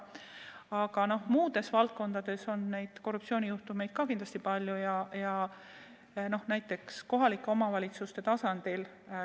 Aga ka muudes valdkondades on neid korruptsioonijuhtumeid kindlasti palju, näiteks kohalike omavalitsuste tasandil.